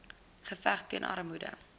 geveg teen armoede